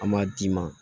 An m'a d'i ma